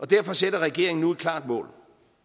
derfor sætter regeringen nu et klart mål